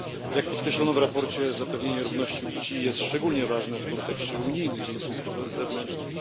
Jak podkreślono w sprawozdaniu, zapewnienie równości płci jest szczególnie ważne w kontekście unijnych stosunków zewnętrznych.